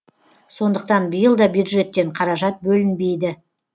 сондықтан биыл да бюджеттен қаражат бөлінбейді